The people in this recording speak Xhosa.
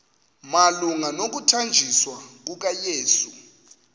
malunga nokuthanjiswa kukayesu